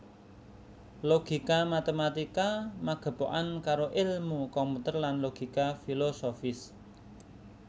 Logika matématika magepokan karo èlmu komputer lan logika filosofis